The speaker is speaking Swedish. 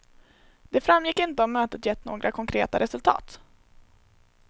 Det framgick inte om mötet gett några konkreta resultat.